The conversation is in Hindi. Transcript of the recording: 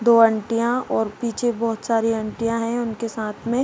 दो आंटीयाँ और पीछे बहुत सारी आंटीयाँ हैं उनके साथ में।